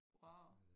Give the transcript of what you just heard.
wauw